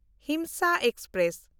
Himsa express